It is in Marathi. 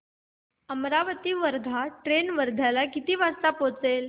अमरावती वर्धा ट्रेन वर्ध्याला किती वाजता पोहचेल